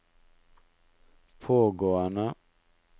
pågående